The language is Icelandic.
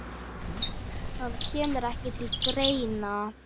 Það kemur ekki til greina.